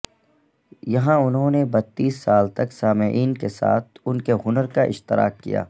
یہاں انہوں نے بتیس سال تک سامعین کے ساتھ ان کے ہنر کا اشتراک کیا